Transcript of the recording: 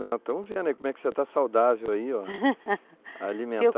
Estamos vendo aí como é que você está saudável aí, ó. Alimenta